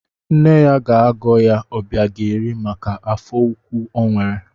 Nne ya ga-agọ ya Obiageri maka afọ ukwu o nwere.